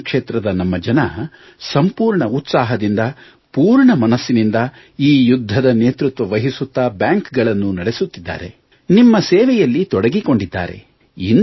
banking ಕ್ಷೇತ್ರದ ನಮ್ಮ ಜನರು ಸಂಪೂರ್ಣ ಉತ್ಸಾಹದಿಂದ ಪೂರ್ಣ ಮನಸ್ಸಿನಿಂದ ಈ ಯುದ್ಧದ ನೇತೃತ್ವ ವಹಿಸುತ್ತ ಬ್ಯಾಂಕ್ಗಳನ್ನು ನಡೆಸುತ್ತಿದ್ದಾರೆ ನಿಮ್ಮ ಸೇವೆಯಲ್ಲಿ ತೊಡಗಿಕೊಂಡಿದ್ದಾರೆ